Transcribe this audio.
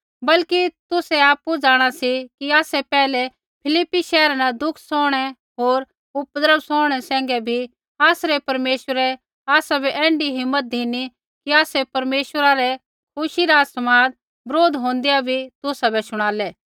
वरन् तुसै आपु जाँणा सी कि आसै पैहलै फिलिप्पी शैहरा न दुख सौहणै होर उपद्रव सौहणै सैंघै बी आसरै परमेश्वरै आसाबै ऐण्ढी हिम्मत धिनी कि आसै परमेश्वरा रै खुशी रा समाद बरोध होंदै बी तुसाबै शुणालै